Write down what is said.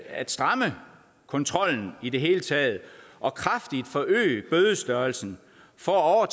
at stramme kontrollen i det hele taget og kraftigt forøge bødestørrelsen for at